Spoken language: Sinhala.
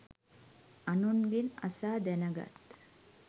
අනුන්ගෙන් අසා දැනගත්